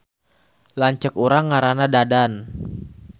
Lanceuk urang ngaranna Dadan